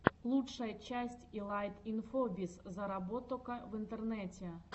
лучшая часть илайт инфобиз зароботока в интернете